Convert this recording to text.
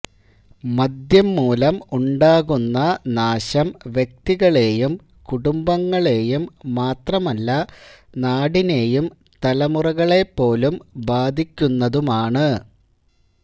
മദ്യംമൂലം ഉണ്ടാകുന്ന നാശം വ്യക്തികളെയും കുടുംബങ്ങളെയും മാത്രമല്ല നാടിനെയും തലമുറകളെപ്പോലും ബാധിക്കുന്നതുമാണ്